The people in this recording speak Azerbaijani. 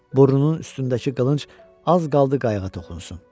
Burnunun üstündəki qılınc az qaldı qayığa toxunsun.